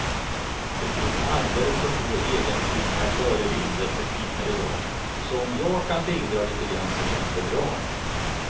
Det finns alldeles för få egensinniga förebilder för kvinnor i dag, så om jag kan bidra lite grann så känns det bra.